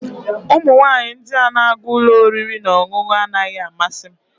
Ụmụ nwanyị ndị na-aga ụlọ oriri na ọṅụṅụ anaghị amasị m